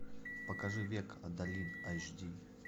покажи век адалин айч ди